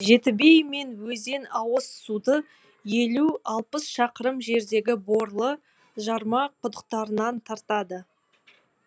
жетібей мен өзен ауыз суды елу алпыс шақырым жердегі борлы жарма құдықтарынан тартады